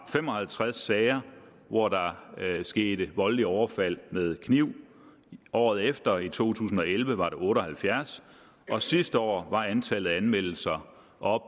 fem og halvtreds sager hvor der skete voldelige overfald med kniv året efter i to tusind og elleve var det otte og halvfjerds og sidste år var antallet af anmeldelser om